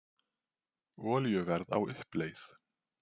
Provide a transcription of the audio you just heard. Olíuverð á uppleið